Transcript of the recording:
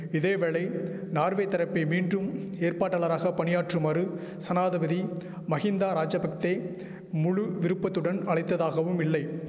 இதேவேளை நார்வே தரப்பை மீண்டும் ஏற்பாட்டாளராக பணியாற்றுமாறு சனாதபதி மகிந்தா ராஜபக்தே முழு விருப்பத்துடன் அழைத்ததாகவுமில்லை